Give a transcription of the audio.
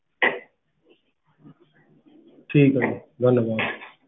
ਠੀਕ ਏ ਜੀ ਧੰਨਵਾਦ